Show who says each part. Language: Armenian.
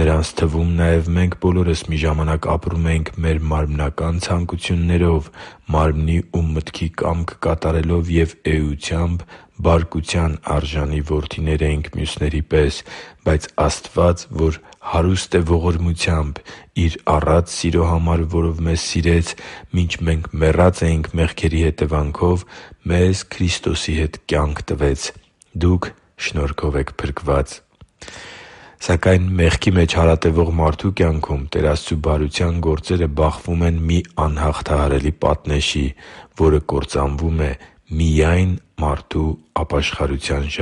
Speaker 1: Նրանց թվում նաև մենք բոլորս մի ժամանակ ապրում էինք մեր մարմնական ցանկություններով՝ մարմնի ու մտքի կամքը կատարելով, և էությամբ բարկության արժանի որդիներ էինք մյուսների պես։ Բայց Աստված, որ հարուստ է ողորմությամբ, Իր առատ սիրո համար, որով մեզ սիրեց, մինչ մեռած էինք մեղքերի հետևանքով, մեզ Քրիստոսի հետ կյանք տվեց։ Դուք շնորհով եք փրկված» (Եփեսացիս 2․1-5): Սակայն մեղքի մեջ հարատևող մարդու կյանքում Տեր Աստծու բարության գործերը բախվում են մի անհաղթահարելի պատնեշի, որը կործանվում է միայն մարդու ապաշխարության